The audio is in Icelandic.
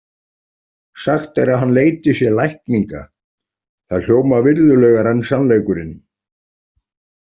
Sagt er að hann leiti sér lækninga, það hljómar virðulegar en sannleikurinn.